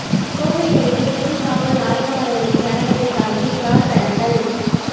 கோவை அருகே பெண் காவல் ஆய்வாளரின் கணவரை தாக்கி கார் கடத்தல்